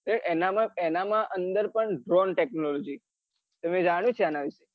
એના માં એના માં અંદર પણ droan technology તમે જાણ્યું છે અન વિશે?